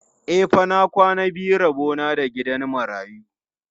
E fa, na kwana biyu rabo na da gidan marayu.